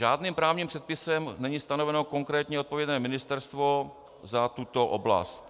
Žádným právním předpisem není stanoveno konkrétně odpovědné ministerstvo za tuto oblast.